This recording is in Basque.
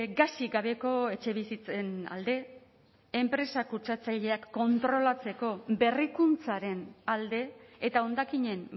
gasik gabeko etxebizitzen alde enpresa kutsatzaileak kontrolatzeko berrikuntzaren alde eta hondakinen